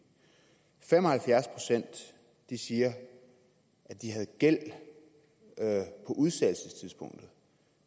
fem og halvfjerds procent siger at de havde gæld på udsættelsestidspunktet